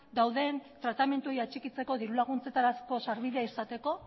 dauden tratamenduei atxikitzeko diru laguntzetarako sarbidea izateko